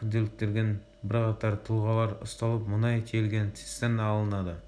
күдіктелген бірқатар тұлғалар ұсталып мұнай тиелген цистерна алынды